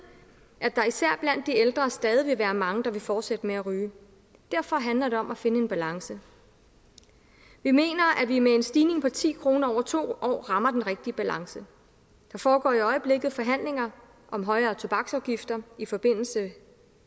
at der især blandt de ældre stadig vil være mange der vil fortsætte med at ryge derfor handler det om at finde en balance vi mener at vi med en stigning på ti kroner over to år rammer den rigtige balance der foregår i øjeblikket forhandlinger om højere tobaksafgifter i forbindelse